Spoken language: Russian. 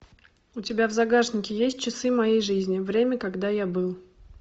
у тебя в загашнике есть часы моей жизни время когда я был